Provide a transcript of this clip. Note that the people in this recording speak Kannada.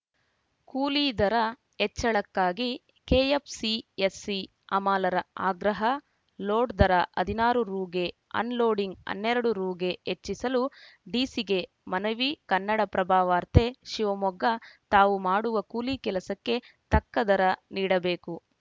ಕೂಲಿ ದರ ಹೆಚ್ಚಳಕ್ಕಾಗಿ ಕೆಎಫ್‌ಸಿಎಸ್‌ಸಿ ಹಮಾಲರ ಆಗ್ರಹ ಲೋಡ್‌ ದರ ಹದಿನಾರು ರುಗೆ ಅನ್‌ಲೋಡಿಂಗ್‌ ಹನ್ನೆರಡು ರುಗೆ ಹೆಚ್ಚಿಸಲು ಡಿಸಿಗೆ ಮನವಿ ಕನ್ನಡಪ್ರಭವಾರ್ತೆ ಶಿವಮೊಗ್ಗ ತಾವು ಮಾಡುವ ಕೂಲಿ ಕೆಲಸಕ್ಕೆ ತಕ್ಕ ದರ ನೀಡಬೇಕು